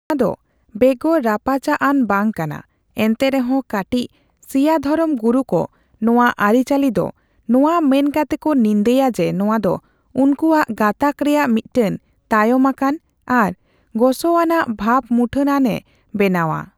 ᱱᱚᱣᱟ ᱫᱚ ᱵᱮᱜᱚᱨ ᱨᱟᱯᱟᱪᱟᱜᱼᱟᱱ ᱵᱟᱝ ᱠᱟᱱᱟ ᱮᱱᱛᱮᱨᱮᱦᱚᱸ ᱠᱟᱴᱤᱪ ᱥᱤᱭᱟ ᱫᱷᱚᱨᱚᱢ ᱜᱩᱨᱩᱠᱚ ᱱᱚᱣᱟ ᱟᱹᱨᱤᱼᱪᱟᱹᱞᱤ ᱫᱚ ᱱᱚᱣᱟ ᱢᱮᱱ ᱠᱟᱛᱮ ᱠᱚ ᱱᱤᱱᱫᱟᱹᱭᱟ ᱡᱮ ᱱᱚᱣᱟ ᱫᱚ ᱩᱱᱠᱩᱭᱟᱜ ᱜᱟᱸᱛᱟᱠ ᱨᱮᱭᱟᱜ ᱢᱤᱫᱴᱮᱱ ᱛᱟᱭᱚᱢ ᱟᱠᱟᱱ ᱟᱨ ᱜᱚᱥᱚᱣᱟᱱᱟᱜ ᱵᱷᱟᱵᱢᱩᱴᱟᱹᱟᱱᱮ ᱵᱮᱱᱟᱣᱼᱟ ᱾